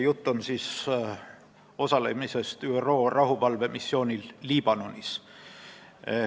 Jutt on osalemisest ÜRO rahuvalvemissioonil Liibanonis.